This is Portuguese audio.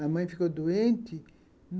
A mãe ficou doente.